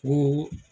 Ni